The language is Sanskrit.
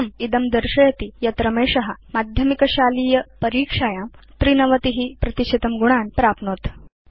इत्थम् इदं दर्शयति यत् रमेश माध्यमिकशालीय परीक्षायां 93 प्रतिशतं गुणान् प्राप्नोत्